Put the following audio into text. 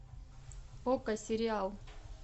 окко сериал